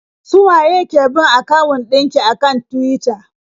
Su waye ki bin akawun ɗin ki a kan Tuwita?